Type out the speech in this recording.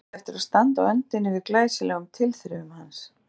Hún átti eftir að standa á öndinni yfir glæsilegum tilþrifum hans.